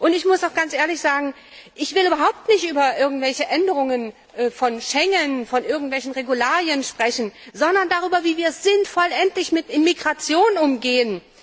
Ich muss auch ganz ehrlich sagen, ich will überhaupt nicht über irgendwelche Änderungen von Schengen, von irgendwelchen Regularien sprechen, sondern darüber, wie wir endlich sinnvoll mit Migration umgehen.